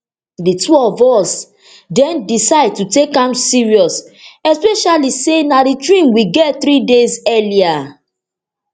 di two of us den decide to take am serious especially say na di dream we get three days earlier